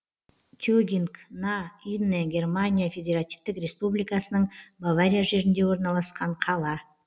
тегинг на инне германия федеративтік республикасының бавария жерінде орналасқан қала